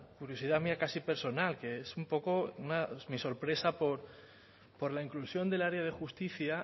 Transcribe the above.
curiosidad mía casi personal que es un poco mi sorpresa por la inclusión del área de justicia